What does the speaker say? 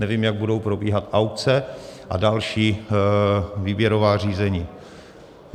Nevím, jak budou probíhat aukce a další výběrová řízení.